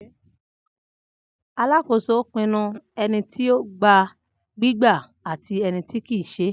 Alakoso pinnu ẹniti o gba gbigba ati ẹniti kii ṣe.